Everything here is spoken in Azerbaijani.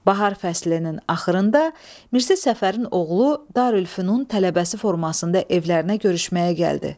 Bahar fəslinin axırında Mirzə Səfərin oğlu Darülfünun tələbəsi formasında evlərinə görüşməyə gəldi.